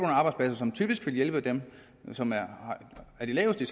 arbejdspladser som typisk vil hjælpe dem som har de laveste